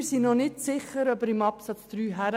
Wir sind noch nicht sicher, ob er dorthin gehört.